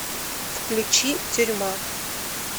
включи тюрьма